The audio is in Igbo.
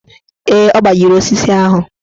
Ee, ọ gbajiri osisi ahụ.